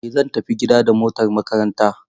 Eh zan tafi gida da motar makaranta.